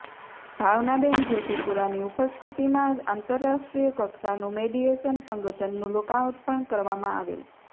ભાવનાબેન જોશીપૂરાની ઉપસ્થિતિમાં આંતરરાષ્ટ્રીય કક્ષાનું મિડીએશન સંગઠનનું લોકાપર્ણ કરવામા આવેલ